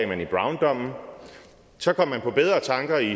man i browndommen så kom man på bedre tanker i